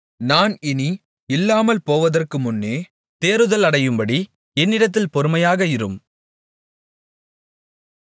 நான் இனி இல்லாமல்போவதற்குமுன்னே தேறுதலடையும்படி என்னிடத்தில் பொறுமையாக இரும்